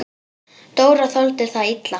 Dóra þoldi það illa.